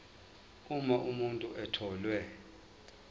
uma umuntu etholwe